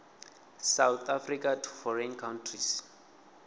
south africa to foreign countries